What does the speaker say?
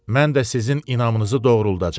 Mən də sizin inamınızı doğruldacam.